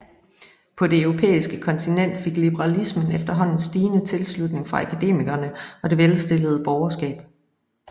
På det europæiske kontinent fik liberalismen efterhånden stigende tilslutning fra akademikerne og det velstillede borgerskab